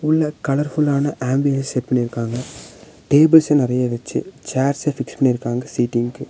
உள்ள கலர் ஃபுல்லான ambience set பண்ணிருக்காங்க டேபிள்ஸ் நெறைய வச்சு சேர்ச ஃபிக்ஸ் பண்ணி இருக்காங்க சீட்டிங்கு .